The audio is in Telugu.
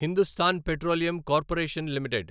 Hindustan petroleum corporation limited